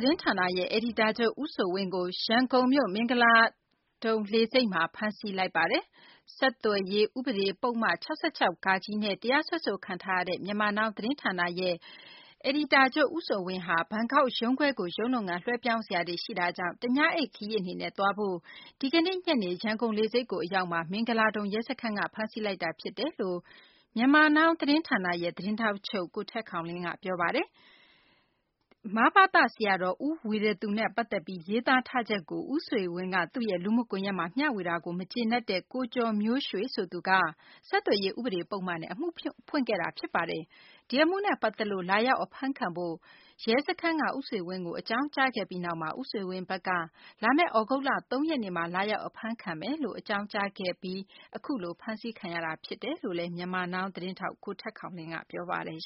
တင်းဌာနရဲ့ အယ်ဒီတာချုပ် ဦးဆွေဝင်းကို ရန်ကုန်လေဆိပ်မှာ ဖမ်းဆီးလိုက်ပါတယ်။ ဆက်သွယ်ရေး ဥပဒေ ပုဒ်မ (၆၆/ဃ) နဲ့ တရားစွဲဆိုခံထားရတဲ့ Myanmar Now သတင်းဌာနရဲ့ အယ်ဒီတာချုပ် ဦးဆွေဝင်းက ဘန်ကောက် ရုံးခွဲကို ရုံးလုပ်ငန်းတွေ လွှဲပြောင်းပေးစရာတွေ ရှိတာကြောင့် တညအိပ် ခရီး အနေနဲ့ သွားဖို့ ရန်ကုန်လေဆိပ်ကြီးကို အရောက်မှာ မင်္ဂလာဒုံ ရဲစခန်းက ဖမ်းဆီးလိုက်တာ ဖြစ်တယ်လို့ Myanmar Now သတင်းဌာနရဲ့ သတင်းထောက်ချုပ် ကိုထက်ခေါင်လင်းက ပြောပါတယ်။ မဘသ ဆရာတော် ဦးဝီရသူနဲ့ ပတ်သက်ပြီး ရေးသားထားချက်ကို ဦးဆွေဝင်းက သူ့ရဲ့ လူမှုကွန်ယက်မှာ မ ျှဝေတာကို မကျေနပ်တဲ့ ကိုကျော်မျိုးရွှေက ဆက်သွယ်ရေး ဥပဒေ ပုဒ်မနဲ့ အမှုဖွင့်ထားတာပါ။ ဒီအမှုနဲ့ ပတ်သက်လို့ လာရောက် အဖမ်းခံဖို့ ရဲစခန်းက ဦးဆွေဝင်းကို လာရောက် အဖမ်းခံဖို့ အကြောင်းကြားခဲ့ပြီ ဦးဆွေဝင်းဘက်က လာမယ့် သြဂုတ်လ ၃ ရက်နေ့မှာ လာရောက် အဖမ်းခံပါမယ်လို့ အကြောင်းကြားခဲ့ပြီးနောက် ဒီကနေ့ အဖမ်းခံရတာ ဖြစ်တယ်လို့ Myanmar Now သတင်းထောက်ချုပ် ကိုထက်ခေါင်လင်းက ပြောပါတယ်